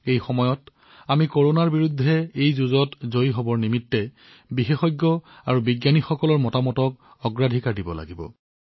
এই সময়ত আমি এই যুঁজত জয়ী হবলৈ বিশেষজ্ঞ আৰু বৈজ্ঞানিক পৰামৰ্শক অগ্ৰাধিকাৰ দিব লাগিব